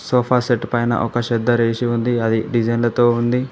Sofa set పైనా ఒక సెద్దర్ ఏసి ఉంది అది డిజైన్లతో ఉంది.